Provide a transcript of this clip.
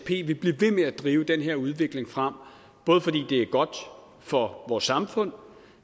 blive ved med at drive den her udvikling frem både fordi det er godt for vores samfund